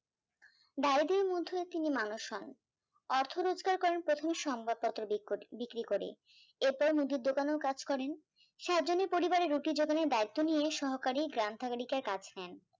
তিনি মানুষ হন, অর্থ রোজগার করেন প্রথম সংবাদপত্র বিক্রি করে, এরপর মুদির দোকানেও কাজ করেন, সাতজনের পরিবারের রুটি যোগানের দায়িত্ব নিয়ে সহকারে গ্রাম থাগালিকায় কাজ নেন